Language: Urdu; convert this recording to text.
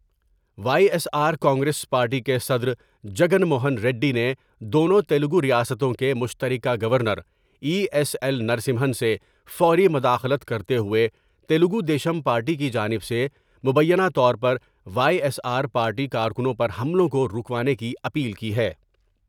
Y S R Congress party کے صدر جگن موہن ریڈی نے دونوں تلگوریاستوں کے مشتر کہ governor E S L Narasimhan سے فوری مداخلت کرتے ہوئے تلگو دیشم پارٹی کی جانب سے مبینہ طور پر وائی ایس آر پارٹی کارکنوں پر حملوں کو روکوانے کی اپیل کی ہے ۔